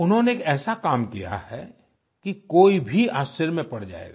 उन्होंने एक ऐसा काम किया है कि कोई भी आश्चर्य में पड़ जायेगा